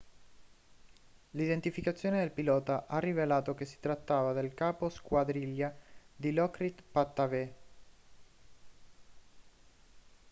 l'identificazione del pilota ha rivelato che si trattava del capo squadriglia dilokrit pattavee